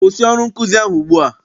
Kwụsị ọrụ nkụzi ahụ ugbua!